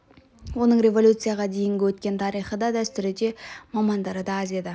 оның революцияға дейінгі өткен тарихы да дәстүрі де мамандары да аз еді